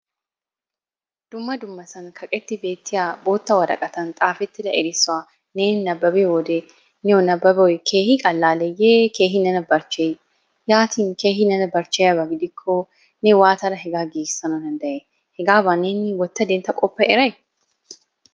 Dumma dummasan kaqetti beettiya bootta woraqatan xaafettida erissuwa neeni nababiyo wode niyo nabbabboy keehi qallalleeyyee keehi nena barchcheyii? Yaatin keehi Nena barchcheyiyaaba gidikko ne waatada hegaa giigissana danddayay? Hegaabaa neeni wotta dentta qoppa eray?